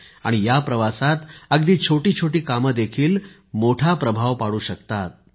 आणि या प्रवासात अगदी छोटी छोटी कामेदेखील मोठा प्रभाव पाडू शकतात